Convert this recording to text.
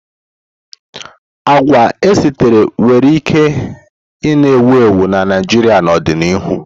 Agwa esitere nwere ike na-ewu ewu na Naịjirịa n'ọdịnihu.